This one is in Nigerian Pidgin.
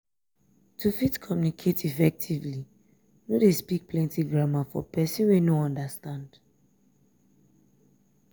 to fit communicate effectively no de speak plenty grammar for persin wey no understand